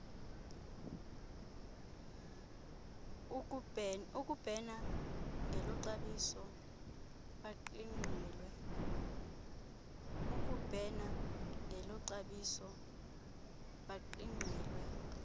ukubhena ngeloxabiso baqingqelwe